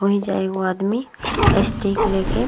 ओहिजा एगो आदमी स्टिक लेके --